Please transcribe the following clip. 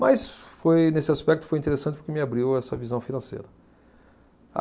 Mas, foi nesse aspecto, foi interessante porque me abriu essa visão financeira.